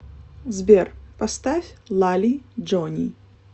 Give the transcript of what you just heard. сбер поставь лали джони